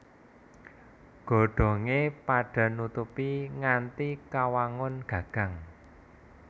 Godhongé padha nutupi nganti kawangun gagang